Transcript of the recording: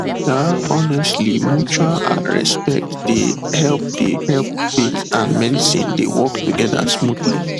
um honestly mutual ah respect dey help dey help faith and medicine dey work together smoothly